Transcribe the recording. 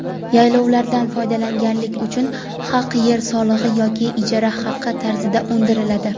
Yaylovlardan foydalanganlik uchun haq yer solig‘i yoki ijara haqi tarzida undiriladi.